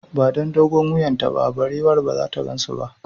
Ba don dogon wuyan ta ba, barewar ba zata gansu ba